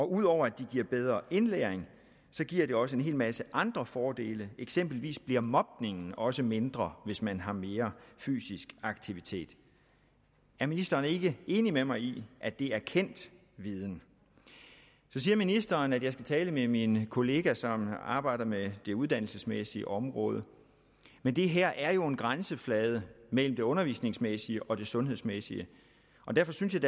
ud over at det giver bedre indlæring giver det også en hel masse andre fordele eksempelvis bliver mobningen også mindre hvis man har mere fysisk aktivitet er ministeren ikke enig med mig i at det er kendt viden så siger ministeren jeg skal tale med min kollega som arbejder med det uddannelsesmæssige område men det her er jo en grænseflade mellem det undervisningsmæssige og det sundhedsmæssige derfor synes jeg